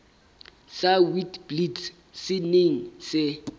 sa witblits se neng se